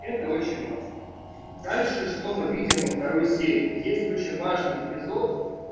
это очень важно дальше что мы видим во второй серии есть очень важный эпизод